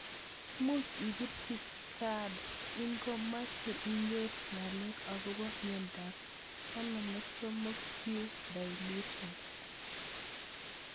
Much ipirchi GARD ng'imache inyoru ng'alek akopo miondop 16q deletions.